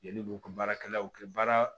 Yanni k'u ka baarakɛlaw kɛ baara